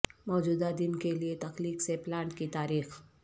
موجودہ دن کے لئے تخلیق سے پلانٹ کی تاریخ